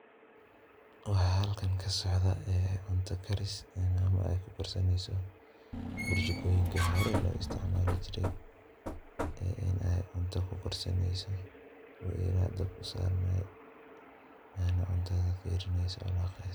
Waxaa halkan ka socdaa cunto karis maamo ay ku karsaneeyso burjikooyinka hore loo isticmaalijirey in ay cunto ku karsaneeyso, oo eelaha dabka usaaranay cuntada fiirineyso oo walaaqeyso.